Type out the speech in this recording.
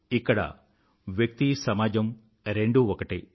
ఇక్కడ వ్యక్తి సమాజం రెండూ ఒకటే